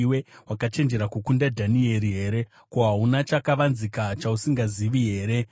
Wakachenjera kukunda Dhanieri here? Hauna chakavanzika chausingazivi here?